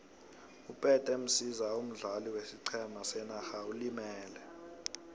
upete msiza omdlali wesiqhema senarha ulimele